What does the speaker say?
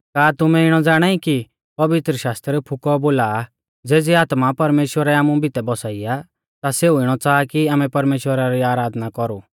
का तुमै इणौ ज़ाणाई कि पवित्रशास्त्र फुकौ औ बोला आ ज़ेज़ी आत्मा परमेश्‍वरै आमु बितै बसाई आ ता सेऊ इणौ च़ाहा कि आमै परमेश्‍वरा री आराधना कौरु